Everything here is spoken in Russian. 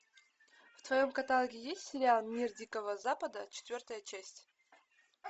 в твоем каталоге есть сериал мир дикого запада четвертая часть